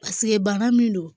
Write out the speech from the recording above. bana min don